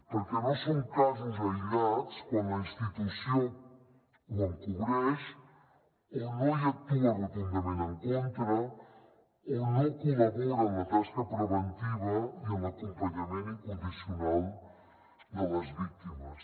perquè no són casos aïllats quan la institució ho encobreix o no hi actua rotundament en contra o no col·labora en la tasca preventiva i en l’acompanyament incondicional de les víctimes